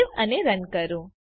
save અને run કરો